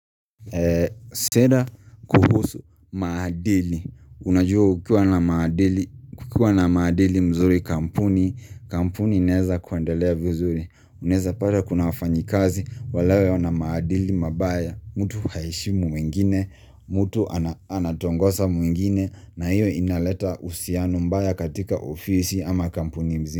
Tena kuhusu maadili Unajua kukiwa na maadili mzuri kampuni Kampuni inaeza kuendelea vizuri Unaeza pata kuna wafanyi kazi Walewe ona maadili mabaya Mutu haeshimu wengine Mutu anatongosa mwingine na hiyo inaleta uhusiano mbaya katika ofisi ama kampuni nzima.